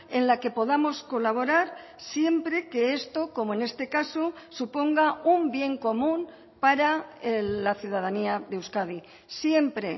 en la que podamos colaborar siempre que esto como en este caso suponga un bien común para la ciudadanía de euskadi siempre